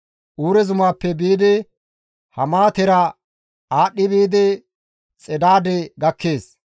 Uure zumaappe biidi Hamaatera aadhdhi biidi Xedaade gakkees.